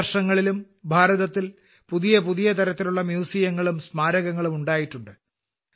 മുൻവർഷങ്ങളിലും ഭാരതത്തിൽ പുതിയപുതിയതരത്തിലുള്ള മ്യൂസിയങ്ങളും സ്മാരകങ്ങളും ഉണ്ടായിട്ടുണ്ട്